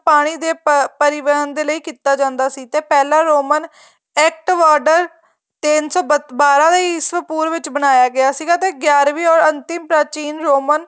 ਪਾਣੀ ਦੇ ਪਰਿਵਰਣ ਲਈ ਕੀਤਾ ਜਾਂਦਾ ਸੀ ਤੇ ਪਹਿਲਾ ਰੋਮਨ ਐਕਟਬਾਰਡਰ ਤਿੰਨ ਸੋ ਬਾਰਾਂ ਦੇ ਈਸਵੀਂ ਪੂਰਵ ਬਣਾਇਆ ਗਇਆ ਸੀਗਾ ਤੇ ਗਿਆਰਵੀਂ ਔਰ ਅੰਤਿਮ ਪ੍ਰਾਚੀਨ ਰੋਮਨ